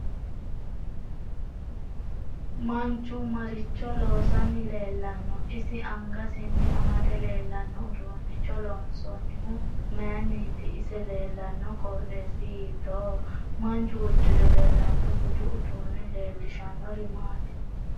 Manchu maricho loosani leelanno isi angasinni amadde leelanno uduunicho loonsoonihu mayiiniti ise leelanno qoxeesi hiitooho manchu uddire leelanno budu uduuni leelishanori maati